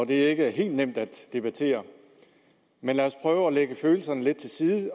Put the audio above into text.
det ikke er helt nemt at debattere men lad os prøve at lægge følelserne lidt til side